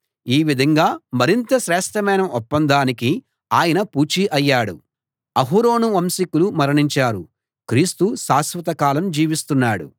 ఈ విధంగా మరింత శ్రేష్ఠమైన ఒప్పందానికి ఆయన పూచీ అయ్యాడు